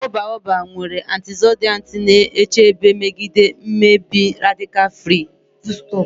Akwụkwọ Baobab nwere antioxidants na-echebe megide mmebi radical free.